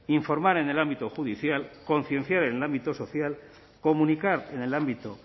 informar en el ámbito judicial concienciar en el ámbito social comunicar en el ámbito